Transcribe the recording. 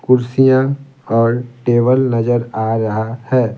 कुर्सियां और टेबल नजर आ रहा है।